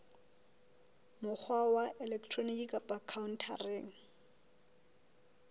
mokgwa wa elektroniki kapa khaontareng